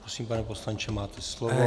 Prosím, pane poslanče, máte slovo.